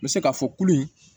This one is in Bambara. N bɛ se k'a fɔ kulu in